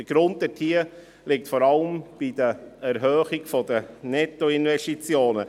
Der Grund dafür liegt vor allem in der Erhöhung der Nettoinvestitionen.